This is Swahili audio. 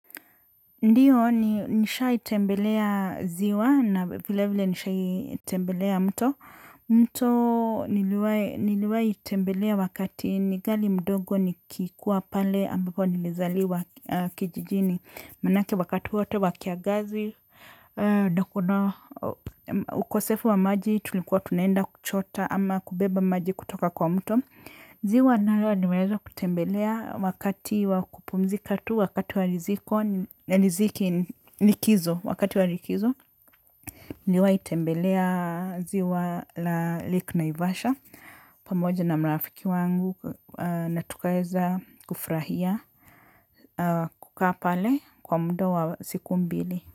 Ndiyo, nishaitembelea ziwa na vile vile nishaitembelea mto. Mto niliwahi tembelea wakati ningali mdogo nikikua pale ambapo nimezaliwa kijijini. Manake wakati wote wakiangazi, ndo kuna ukosefu wa maji tulikuwa tunaenda kuchota ama kubeba maji kutoka kwa mto. Ziwa nalo nimeweza kutembelea wakati wakupumzika tu wakati wa likizo. Niliwahi tembelea ziwa la lake naivasha pamoja na marafiki wangu na tukaeza kufurahia kukaa pale kwa mda wa siku mbili.